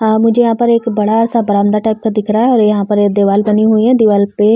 हाँ मुझे यहाँ पर एक बडा सा बरामदा टाइप का दिख रहा और यहाँ पर दीवाल बनी हुई है। दीवाल पे --